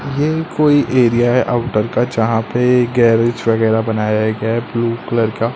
ये कोई एरिया है आउटर का जहां पे गैरेज वगैरा बनाया गया है ब्लू कलर का--